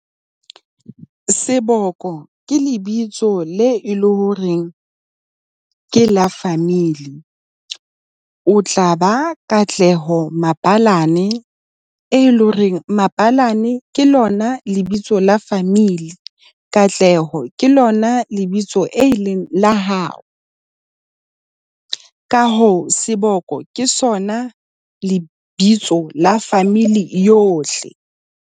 Seboko ke lebitso le e le hore ke la family. O tla ba Katleho Mabalane, e leng horeng Mabalane ke lona lebitso la family. Katleho ke lona lebitso e leng la hao. Ka hoo seboko ke sona lebitso la family yohle.